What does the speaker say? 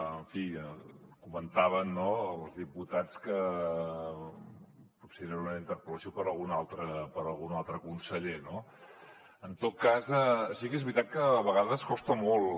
en fi comentaven els diputats que potser era una interpel·lació per a algun altre conseller no en tot cas sí que és veritat que de vegades costa molt